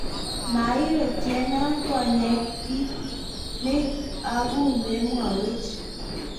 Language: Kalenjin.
mairotiteano konye kiit ni aku memwowech?